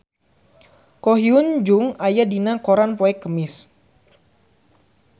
Ko Hyun Jung aya dina koran poe Kemis